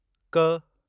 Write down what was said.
क